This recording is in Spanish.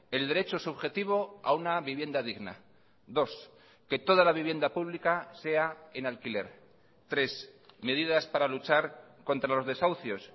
el derecho subjetivo a una vivienda digna dos que toda la vivienda pública sea en alquiler tres medidas para luchar contra los desahucios